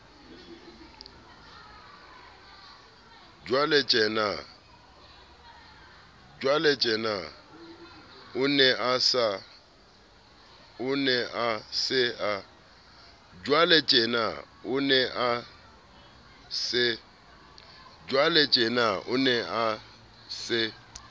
jwaletjena o ne a se